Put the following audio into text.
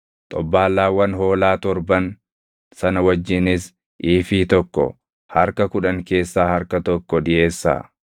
xobbaallaawwan hoolaa torban sana wajjinis iifii tokko harka kudhan keessaa harka tokko dhiʼeessaa.